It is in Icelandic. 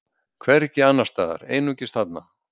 Hvergi annars staðar, einungis þarna.